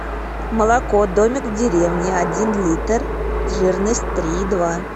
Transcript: молоко домик в деревне один литр жирность три и два